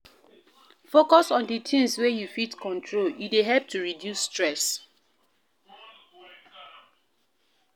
focus on di things wey you fit control e dey help to reduce stress